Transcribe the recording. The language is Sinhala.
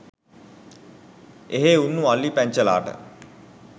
එහේ උන්නු අලි පැංචලාට